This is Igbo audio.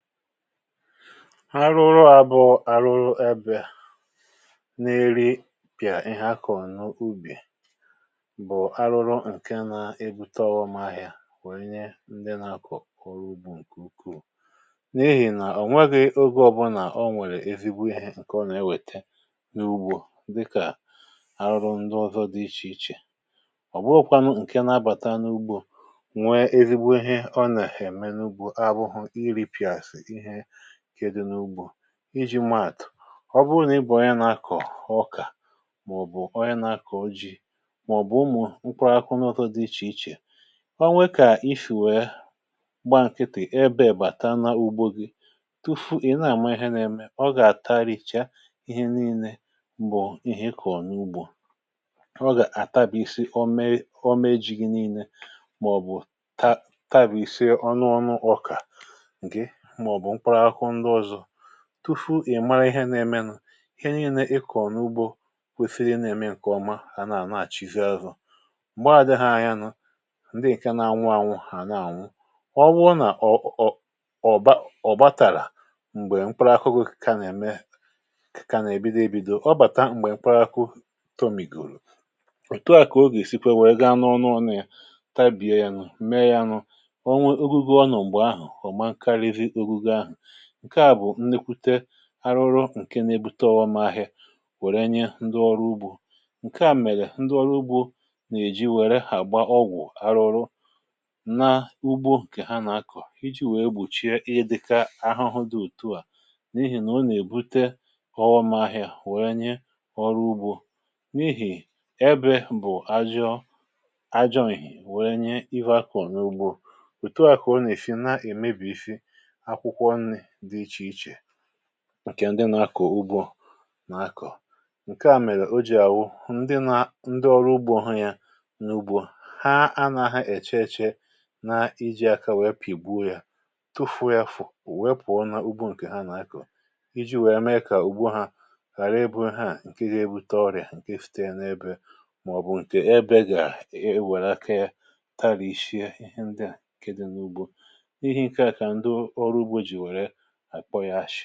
Arụrụ a bụ̀ àrụrụ ebe na-eri pị̀à ihe akọ̀ n’ubì bụ̀ arụrụ ǹkè na-ebute ọghọm ahịȧ nwee nye ndị na-akọ̀ ọrụ ugbȯ ǹkè ukwuù n’ihì nà o nweghị ogė ọbụnà o nwèrè ezigbo ihe ǹkè ọ nà-ewète n’ugbȯ dịkà arụrụ ndụ ọzọ dị ichè ichè. Ọ bụghụkwȧ nụ ǹkè n’abàta n’ugbȯ nwe ezigbo ihe ọ nà-ème n’ugbȯ abụghụ iripị̀àshị̀ ihe nke dị̀ n’ugbo. Iji̇ maa atụ̀ ọbụrụ nà ị̀ bụ̀ onye na-akọ̀ ọkà mà-ọ̀bụ̀ onye na-akọ̀ ji mà-ọ̀bụ̀ ụmụ̀ mkpụrụ akụkụ ndị ọzọ dị ichè ichè, ọ nwekà isì wèe gbaa nkịtị ebe wèe bàta na ugbo gị tufu ị na-àma ihe na-eme, ọ gà-àtarìcha ihe niilė bụ̀ ihe ị kọ̀ọ n’ugbȯ. Ọ gà-àtabisi ọme ọme ji̇ gi niilė mà-ọ̀bụ̀ ta tabisịa ọnụọnụ ọkà gị mà-ọ̀bụ̀ mkpụrụ akụkụ ndị ọzọ, tufu ị̀mara ihe na-ème nụ̀ ihe niilė ịkọ̀ n’ụgbọ kwesiri ị ǹa-ème ǹkèọma ha na-ànaghàchị zị azụ̀, m̀gbe àdị ha anya nụ ǹdị ǹke na-anwụ ànwụ ha na-ànwụ. Ọ wụọ nà ọ̀ ọ̀ ọ̀ba ọ̀ batàrà m̀gbè mkpụrụ akụkụ kà nà-ème kà nà-èbido ebido, ọbàta m̀gbè mkpụrụ akụkụ tomìgòrò òtu à kà o gà-èsikwe wèe gaa na ọnụ ọnụ yȧ tabìa ya nụ̀, mee ya nụ̇ o nwee ogugo ọ nọ mgbe ahụ ọma nkarịzi ogugo ahụ. Nke a bụ nnukwute àrụrụ ǹke na-ebute ọghọm ahịa wèrè nye ndị ọrụ ugbȯ. Nke à mèrè ndị ọrụ ugbȯ nà-èji wèrè hàgba ọgwụ̀ arụrụ na ugbo ǹkè ha nà-akọ̀ iji̇ wèe gbochie ịdị̇ka ahụhụ dị òtu à n’ihì nà o nà-èbute ọghọm ahịa wèe nye ọrụ ugbȯ. N’ihì ebe bụ̀ ajọọ ajọ̇ ihìe wèe nye ihe akọ̀ n’ugbȯ, òtu à kà ọ nà-èsi na-èmebìsị akwụkwọ nri dị ichè ichè ǹkè ndị nȧ-ȧkọ̀ ugbȯ nà-akọ̀. Nke à mèrè o jì à wụ ndị nȧ ndị ọrụ ugbȯ hụ ya n’ugbȯ ha anàghị èche-èche na iji̇ aka wèe pìgbuo ya tufu̇o yȧ fò wèe pụ̀ọ nà ugbȯ ǹkè ha nà-akọ̀ iji̇ wèe mee kà ùgbo hȧ ghàra ibụ̇ ha ǹke gȧ-ebute ọrị̀à ǹkè site n’ebe mà-ọ̀bụ̀ ǹkè ebe gà-èwère aka ya tarìshie ihe ndị à ǹke dị n’ugbo. N’ihi nka ka ndị ọ ọrụ-ugbo ji àkpọ yȧ ashị̇